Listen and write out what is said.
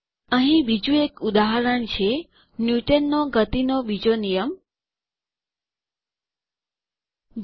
અહી બીજું એક ઉદાહરણ છે ન્યુટનનો ગતિનો બીજો નિયમ Newton's second law of motion